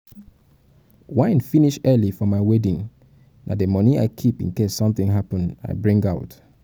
wine finish early for my wedding na the money i keep in case something happen i bring out.